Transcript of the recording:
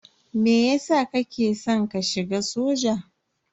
Meyasa kake san ka shiga soja?